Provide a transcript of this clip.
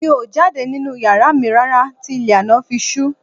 Mi ò jáde nínú yàrá mi rárá tí ilẹ̀ àná fi ṣú